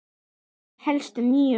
Það hélstu nú!